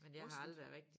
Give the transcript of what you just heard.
Rustent